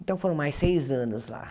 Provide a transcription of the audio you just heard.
Então, foram mais seis anos lá.